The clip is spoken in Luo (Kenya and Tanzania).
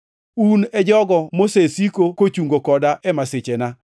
Un e jogo mosesiko kochungo koda e masichena.